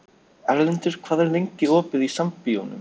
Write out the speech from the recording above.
Erlendur, hvað er lengi opið í Sambíóunum?